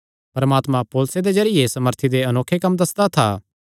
परमात्मा पौलुसे दे जरिये सामर्थी दे अनोखे कम्म दस्सदा था